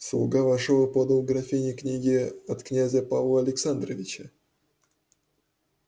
слуга вошёл и подал графине книги от князя павла александровича